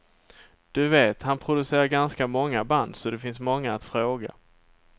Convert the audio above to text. Du vet, han producerade ganska många band, så det finns många att fråga.